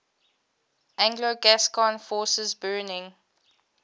anglo gascon forces burning